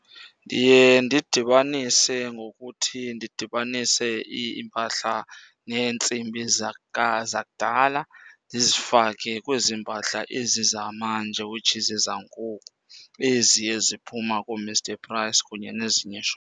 Ndiye ndidibanise ngokuthi ndidibanise iimpahla neentsimbi zakudala ndizifake kwezi mpahla ezi zamanje, which is ezangoku, ezi eziphuma kooMr Price kunye nezinye iishophu.